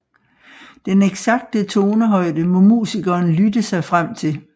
Den eksakte tonehøjde må musikeren lytte sig frem til